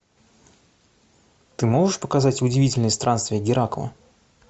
ты можешь показать удивительные странствия геракла